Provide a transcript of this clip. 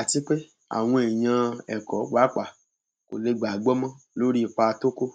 àti pé àwọn èèyàn ẹkọ pàápàá kò lè gbà á gbọ mọ lórí ipa tó kó